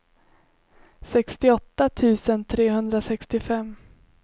sextioåtta tusen trehundrasextiofem